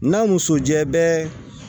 N'a muso jɛ bɛɛ